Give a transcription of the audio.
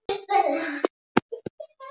Það verður seint eða aldrei metið til fullnustu.